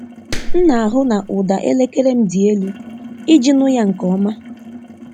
M na-ahụ na ụda elekere m dị elu iji nụ ya nke ọma.